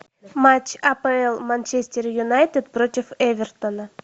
матч апл манчестер юнайтед против эвертона